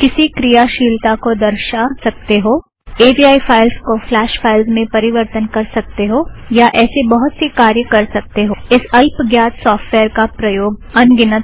किसी क्रियाशीलता को दर्शा सकते हो ए वी आइ फ़ाइलस का फ़्लाश फ़ाइलस में परिवरतन कर सकते हो या ऐसे बहुत से कार्य कर सकते हो इस अल्प ग्यात सॉफ़्टवॅयर का प्रयोग अंगिनत है